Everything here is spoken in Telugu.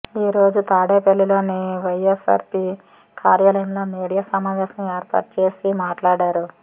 ఈ రోజు తాడేపల్లిలోని వైఎస్సార్సీపీ కార్యాలయంలో మీడియా సమావేశం ఏర్పాటుచేసి మాట్లాడారు